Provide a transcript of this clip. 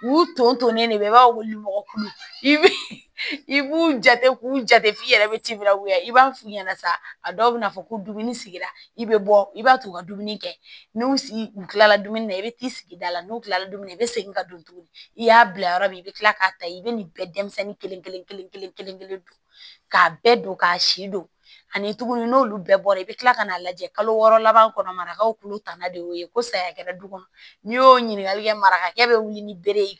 U ton to ne bɛ i b'a weele mɔgɔ kuru i b'u jate k'u jate f'i yɛrɛ bɛ tibila wuli i b'a f'u ɲɛna sa a dɔw bɛna fɔ ko dumuni sigira i bɛ bɔ i b'a t'u ka dumuni kɛ n'u sigi u tilala dumuni na i bɛ t'i sigi da la n'u kilala dumuni na i bɛ segin ka don tuguni i y'a bila yɔrɔ min i bɛ kila k'a ta i bɛ nin bɛɛ denmisɛnnin kelen kelen kelen don k'a bɛɛ don k'a si don ani tuguni n'olu bɛɛ bɔra i bɛ kila ka n'a lajɛ kalo wɔɔrɔ laban kɔnɔ marakaw olu tana de y'o ye ko saya kɛra du kɔnɔ n'i y'o ɲininkali kɛ marakakɛ bɛ wuli ni bere ye